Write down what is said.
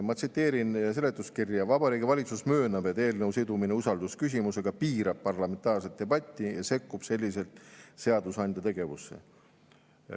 Ma tsiteerin seletuskirja: "Vabariigi Valitsus möönab, et eelnõu sidumine usaldusküsimusega piirab parlamentaarset debatti ja sekkub selliselt seadusandja tegevusse.